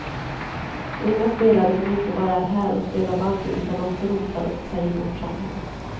Unga spelare som inte bara är här och spelar bandy utan också rotar sig i vårt samhälle.